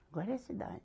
Agora é cidade.